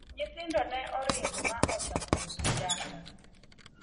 nyithindo ne oringo ma ochako uso njaga